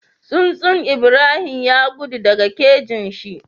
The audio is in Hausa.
Tsuntsun Ibrahim ya gudu daka kajin shi